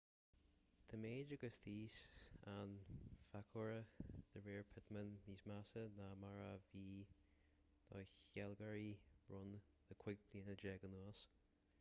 tá méid agus tiús an phacoighir de réir pittman níos measa ná mar a bhí do shealgairí rón le cúig bliana déag anuas